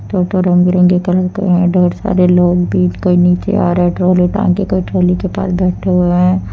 टोटो रंग बिरंगे कलर की है ढेर सारे लोग भी कोई नीचे आ रहे हैं झोले टांग के कोई ट्रॉली के पास बैठे हुए हैं।